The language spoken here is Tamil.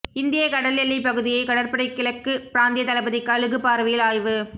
இந்திய கடல் எல்லைப் பகுதியை கடற்படை கிழக்கு பிராந்திய தளபதி கழுகு பார்வையில் ஆய்வு